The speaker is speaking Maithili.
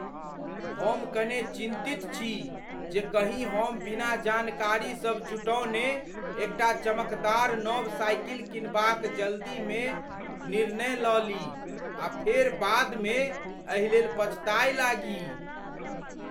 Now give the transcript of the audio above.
हम कने चिन्तित छी जे कहीँ हम बिना जानकारी सब जुटौने एकटा चमकदार नव साइकिल कीनबाक जल्दीमे निर्णय लऽ ली आ फेर बादमे एहि लेल पछताय लागी।